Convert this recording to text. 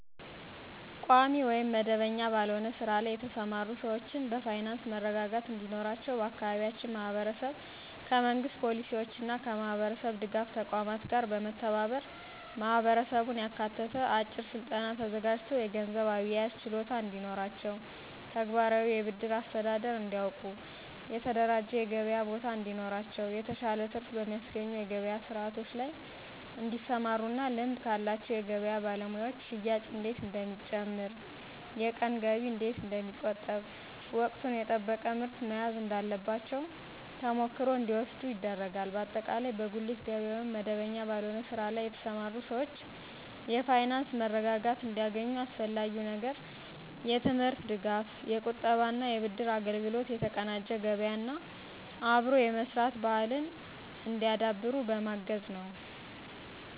ቋሚ ወይም መደበኛ ባልሆነ ስራ ላይ የተሰማሩ ሰዎችን በፋይናንስ መረጋጋት እንዲኖራቸው በአካባቢያችን ማህበረሰብ ከመንግሥት ፖሊሲዎችና ከማህበረሰብ ድጋፍ ተቋማት ጋር በመተባበር ማህበረሰቡን ያካተተ አጭር ስልጠና ተዘጋጅቶ የገንዘብ አያያዝ ችሎታ እንዲኖራቸው፣ ተግባራዊ የብድር አስተዳደር እንዲያውቁ፣ የተደራጀ የገበያ ቦታ እንዲኖራቸው፣ የተሻለ ትርፍ በሚያስገኙ የገበያ ስርዓቶች ላይ እንዲሰማሩና ልምድ ካላቸው የገበያ ባለሙያዎች ሽያጭ እንዴት እንደሚጨምር፣ የቀን ገቢ እንዴት እንደሚቆጠብ፣ ወቅቱን የጠበቀ ምርት መያዝ እንዳለባቸው ተሞክሮ እንዲወስዱ ይደረጋል። በአጠቃላይ በጉሊት ገበያ ወይም መደበኛ ባልሆነ ስራ ላይ የተሰማሩ ሰዎች የፋይናንስ መረጋጋት እንዲያገኙ አስፈላጊው ነገር የትምህርት ድጋፍ፣ የቁጠባና የብድር አገልግሎት፣ የተቀናጀ ገበያና አብሮ የመስራት ባህልን እንዲያዳብሩ በማገዝ ነዉ።